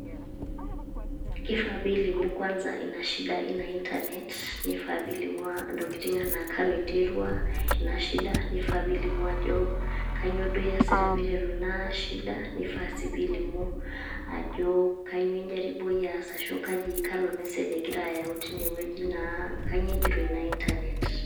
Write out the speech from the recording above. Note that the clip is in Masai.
Kifaa pilimi kwanza ina shida ina internet ,nifaa pilimu intokitin anaa akanu iterua ina shida ,nifaa pilimu ajo kainyioo duoo iyasita piteru ina shida, nifaa sii pilimu ajo kainyioo inyjaribuo iyie aas ashu kaji kalo message tine wueji naa kainyioo ejito ina internet.